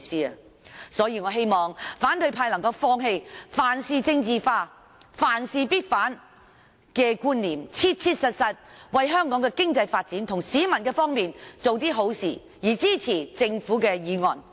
因此，我希望反對派議員能夠放棄凡事政治化、凡事必反的觀念，切切實實為香港的經濟發展及市民的方便做點好事，支持政府的議案。